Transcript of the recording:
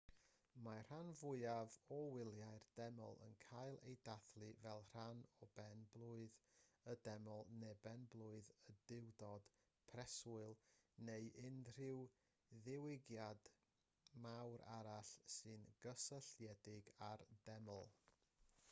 mae'r rhan fwyaf o wyliau'r deml yn cael eu dathlu fel rhan o ben-blwydd y deml neu ben-blwydd y duwdod preswyl neu unrhyw ddigwyddiad mawr arall sy'n gysylltiedig â'r deml